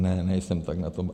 Ne, nejsem tak na tom.